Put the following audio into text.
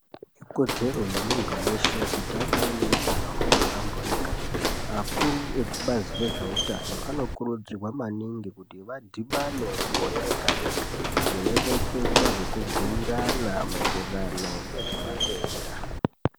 Ikodzero yemuntu weshe kuti ange aneutano hwakahlamburuka. Akuru ekubazi rezveutano anokurudzirwa maningi kuti vadhibane gore rega-rega veireketa nekubhuirana maererano ngezvematenda.